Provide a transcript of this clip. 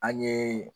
An ye